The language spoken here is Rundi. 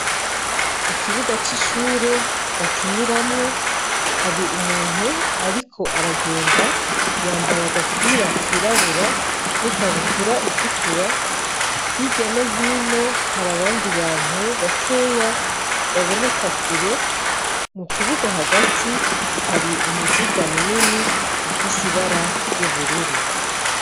Ikibuga c'ishure bakiniramwo hari umuntu, ariko aragenda yambaye agapira kirabura n'ikabutura itukura hirya no hino hari abandi bantu bakeya baboneka kure mu kibuga hagati hari umu muduga munini ufise ibara ry'ubururu.